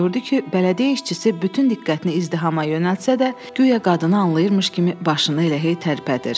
Gördü ki, bələdiyyə işçisi bütün diqqətini izdihama yönəltsə də, guya qadını anlayırmış kimi başını elə hey tərpədir.